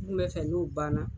N kun bɛ fɛ n'o banna.